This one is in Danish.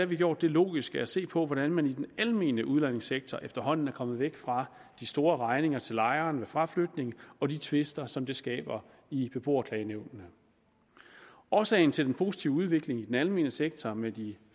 vi gjort det logiske at se på hvordan man i den almene udlejningssektor efterhånden er kommet væk fra de store regninger til lejerne ved fraflytning og de tvister som det skaber i beboerklagenævnene årsagen til den positive udvikling i den almene sektor med de